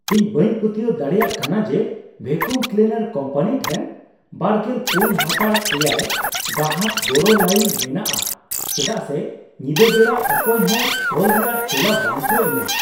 ᱤᱧ ᱵᱟᱹᱧ ᱯᱟᱹᱛᱭᱟᱹᱣ ᱫᱟᱲᱮᱭᱟᱜ ᱠᱟᱱᱟ ᱡᱮ ᱵᱷᱮᱠᱩᱢ ᱠᱞᱤᱱᱟᱨ ᱠᱚᱢᱯᱟᱱᱤ ᱴᱷᱮᱱ ᱒᱔/᱗ ᱜᱟᱦᱟᱠ ᱜᱚᱲᱚ ᱞᱟᱹᱭᱤᱱ ᱢᱮᱱᱟᱜᱼᱟ ᱪᱮᱫᱟᱜ ᱥᱮ ᱧᱤᱫᱟᱹ ᱵᱮᱲᱟ ᱚᱠᱚᱭ ᱦᱚᱸ ᱠᱚᱞ ᱨᱮᱭᱟᱜ ᱛᱮᱞᱟ ᱵᱟᱝ ᱠᱚ ᱮᱢᱟ ᱾